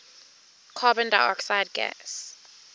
carbon dioxide gas